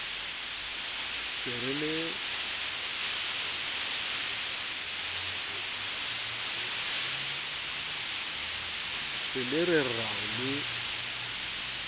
se le re rao le